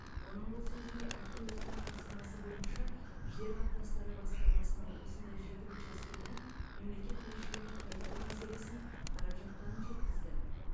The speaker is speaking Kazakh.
оның бұл сөзіне әкім өзінің тапсырмасы бойынша жер қатынастары басқармасының осындай жеті учаскені мемлекет меншігіне қайтару мәселесін қарап жатқанын жеткізді